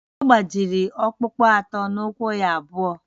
Ọ gbajiri ọkpụkpụ atọ n’ụkwụ ya abụọ